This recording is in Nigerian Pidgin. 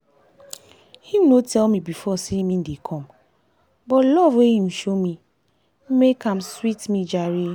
him no tell me before say him dey come but love wey him show me make am sweet me jare